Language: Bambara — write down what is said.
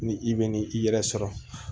Ni i bɛ ni i yɛrɛ sɔrɔ